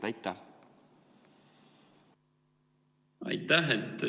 Aitäh!